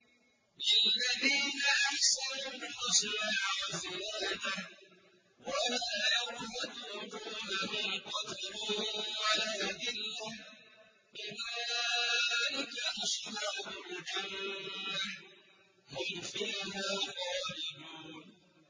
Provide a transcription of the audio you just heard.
۞ لِّلَّذِينَ أَحْسَنُوا الْحُسْنَىٰ وَزِيَادَةٌ ۖ وَلَا يَرْهَقُ وُجُوهَهُمْ قَتَرٌ وَلَا ذِلَّةٌ ۚ أُولَٰئِكَ أَصْحَابُ الْجَنَّةِ ۖ هُمْ فِيهَا خَالِدُونَ